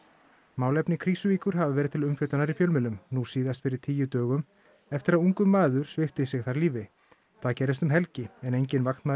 málefni Krýsuvíkur hafa verið til umfjöllunar í fjölmiðlum nú síðast fyrir tíu dögum eftir að ungur maður svipti sig þar lífi það gerðist um helgi en enginn vaktmaður